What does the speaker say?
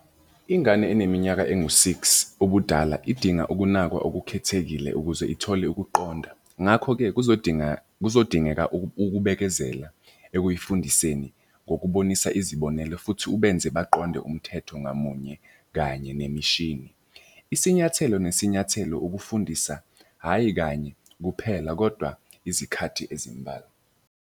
Ingane eneminyaka engu-six ubudala idinga ukunakwa okukhethekile ukuze ithole ukuqonda. Ngakho-ke kuzodinga kuzodingeka ukubekezela ekuyifundiseni ngokubonisa izibonelo futhi ubenze baqonde umthetho ngamunye kanye nemishini. Isinyathelo nesinyathelo ukufundisa, hhayi kanye kuphela, kodwa izikhathi ezimbalwa.